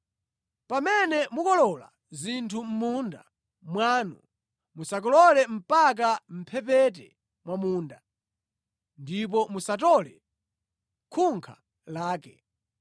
“ ‘Pamene mukolola zinthu mʼmunda mwanu musakolole mpaka mʼmphepete mwa munda, ndipo musatole khunkha lake.